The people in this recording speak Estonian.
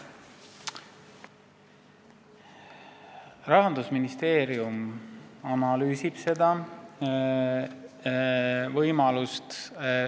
Rahandusministeerium analüüsib seda võimalust.